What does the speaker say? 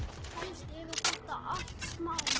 Flytja héðan.